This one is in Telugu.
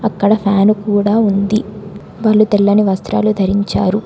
అక్కడ ఫ్యాన్ కూడా ఉంది వలు తెల్లని వస్త్రాలు ధరించారు.